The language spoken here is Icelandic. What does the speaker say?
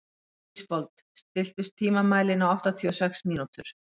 Ísfold, stilltu tímamælinn á áttatíu og sex mínútur.